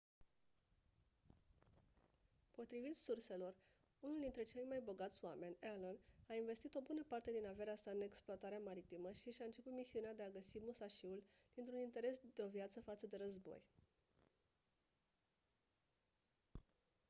potrivit surselor unul dintre cei mai bogați oameni allen a investit o bună parte din averea sa în explorarea maritimă și și-a început misiunea de a găsi musashi-ul dintr-un interes de-o viață față de război